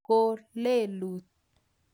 ko lelut